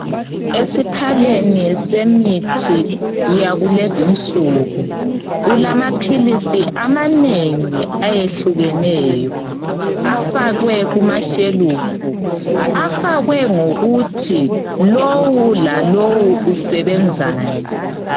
Esiphaleni semithi yakulezi insuku kulamaphilisi amanengi ayehlukeneyo afakwe kumashelufu. Afakwe ngokuthi lowu lalowu usebenzani.